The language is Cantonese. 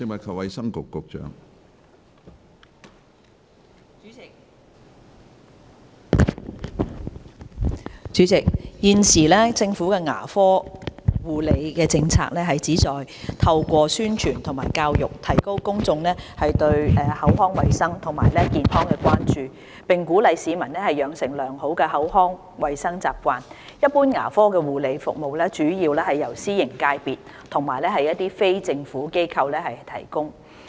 主席，現時，政府的牙科護理政策旨在透過宣傳和教育，提高公眾對口腔衞生及健康的關注，並鼓勵市民養成良好的口腔衞生習慣，一般牙科護理服務主要由私營界別和非政府機構提供。